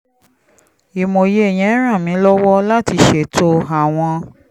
ìmòye yẹn ràn mí lọ́wọ́ láti ṣètò àwọn